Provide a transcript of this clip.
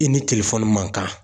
I ni man kan.